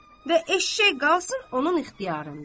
və eşşək qalsın onun ixtiyarında.